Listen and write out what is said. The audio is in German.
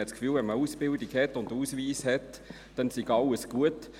Man hat das Gefühl, wenn man eine Ausbildung und einen Ausweis hat, dann sei alles gut.